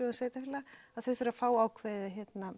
sveitarfélaga þau þurfa að fá ákveðið